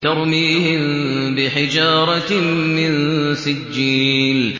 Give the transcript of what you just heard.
تَرْمِيهِم بِحِجَارَةٍ مِّن سِجِّيلٍ